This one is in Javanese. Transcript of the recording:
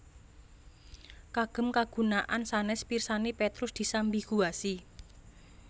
Kagem kagunaan sanès pirsani Petrus disambiguasi